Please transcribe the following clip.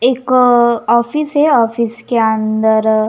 एक ऑफिस है ऑफिस के अंदर.